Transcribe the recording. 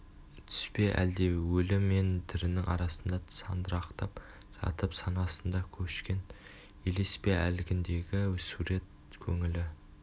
түс пе әлде өлі мен тірінің арасында сандырақтап жатып санасында көшкен елес пе әлгіндегі сурет көңілі